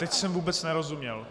Teď jsem vůbec nerozuměl.